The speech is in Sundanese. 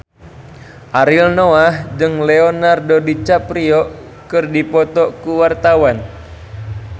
Ariel Noah jeung Leonardo DiCaprio keur dipoto ku wartawan